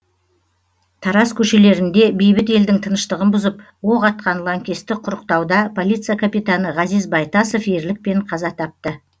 тараз көшелерінде бейбіт елдің тыныштығын бұзып оқ атқан лаңкесті құрықтауда полиция капитаны ғазиз байтасов ерлікпен қаза тапты